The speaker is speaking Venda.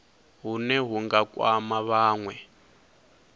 hune hu nga kwama vhanwe